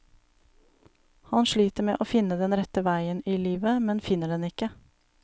Han sliter med å finne den rette vei i livet, men finner den ikke.